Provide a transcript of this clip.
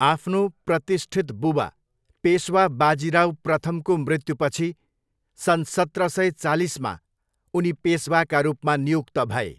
आफ्नो प्रतिष्ठित बुबा पेसवा बाजिराव प्रथमको मृत्युपछि सन् सत्र सय चालिसमा उनी पेसवाका रूपमा नियुक्त भए।